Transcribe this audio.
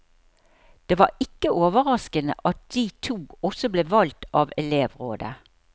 Det var ikke overraskende at de to også ble valgt av elevrådet.